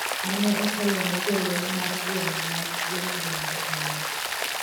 mane otelone jolweny mar gweng' ma yo milambo mane